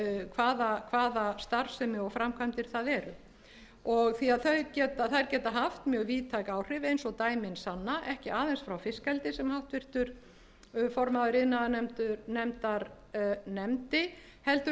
hvaða starfsemi og framkvæmdir það eru því þær geta haft mjög víðtæk áhrif eins og dæmin sanna ekki aðeins frá fiskeldi sem háttvirtur formaður iðnaðarnefndar nefndi heldur